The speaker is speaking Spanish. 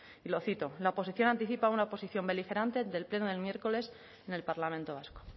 y lo cito la oposición anticipa una oposición beligerante del pleno del miércoles en el parlamento vasco